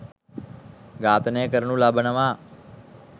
ඝාතනය කරනු ලබනවා